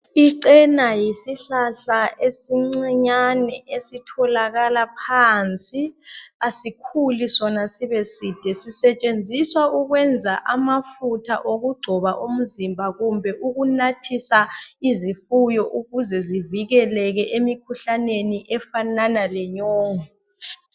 ichena yisihlahla esincinyane esitholakala phansi asikhuli sona sibeside sisetshenziwa ukwenza amafutha okugcoba umzimba kumbe uknathisa izifuyo ukuze zivikeleke emikhuhlaneni efanana lenyongo